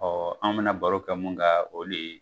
Ɔ an bɛna baro kɛ mun ka o de ye